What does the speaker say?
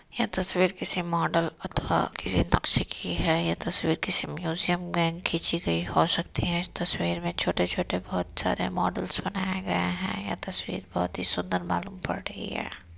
यह तस्वीर किसी मॉडल अथवा किसी नक़्शे की है | यह तस्वीर किसी म्युजियम मे खिंची गई हो सकती है | इस तस्वीर मे छोटे छोटे बहोत सारे मॉडल्स बनाए गए हैं | यह तस्वीर बहोत ही सुंदर मालूम पढ़ रही है।